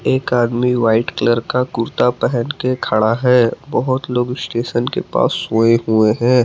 एक आदमी white colour का कुर्ता पहन के खड़ा है बहुत लोग स्टेशन के पास सोए हुए हैं।